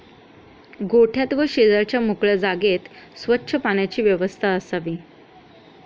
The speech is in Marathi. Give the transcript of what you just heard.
गोठ्यात व शेजारच्या मोकळ्या जागेत स्वच्च पाण्याची व्यवस्था असावी.